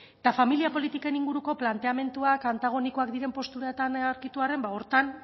familia politiken inguruko planteamenduak antagonikoak diren posturetan aurkitu arren horretan